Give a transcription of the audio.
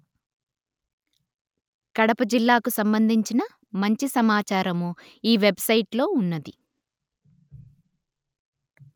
కడప జిల్లాకు సంబంధించిన మంచి సమాచారము ఈ వెబ్ సైట్ లో ఉన్నది